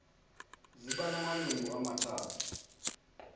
ziba namalungu amathathu